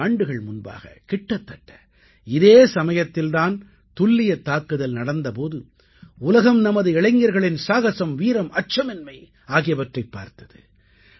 நான்கு ஆண்டுகள் முன்பாக கிட்டத்தட்ட இதே சமயத்தில் தான் துல்லியத் தாக்குதல் நடந்த போது உலகம் நமது இளைஞர்களின் சாகசம் வீரம் அச்சமின்மை ஆகியவற்றைப் பார்த்தது